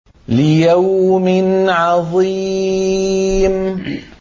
لِيَوْمٍ عَظِيمٍ